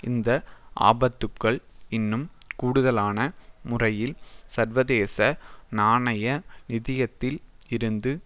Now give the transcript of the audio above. இந்த ஆபத்துக்கள் இன்னும் கூடுதலான முறையில் சர்வதேச நாணய நிதியத்தில் இருந்து